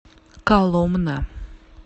коломна